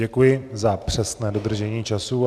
Děkuji za přesné dodržení času.